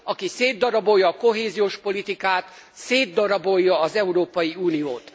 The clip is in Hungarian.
Aki szétdarabolja a kohéziós politikát, szétdarabolja az Európai Uniót.